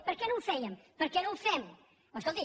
per què no ho fèiem per què no ho fem escolti